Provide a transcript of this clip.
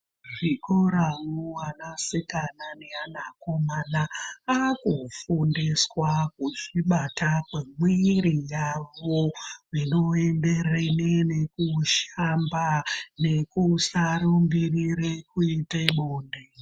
Muzvikora vana sikana nevana komana akufundiswa kuzvibata kwemiwiri yavo zvinoenderere nekushamba nekusarumbirire kuite bonde.